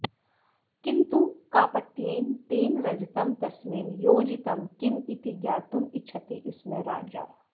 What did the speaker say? किन्तु कापट्येन तेन रजतं तस्मिन् योजितं किम् इति ज्ञातुम् इच्छति स्म राजा